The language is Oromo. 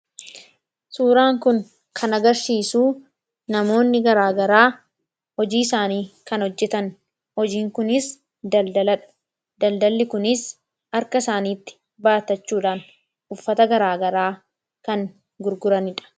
Suuraan kun kan agarsiisu namoonni garaagaraa hojiisaanii kan hojjetan. Hojiin kunis daldala dha. Daldalli kunis harka isaaniitti baattachuudhaan uffata garaagaraa kan gurguranii dha.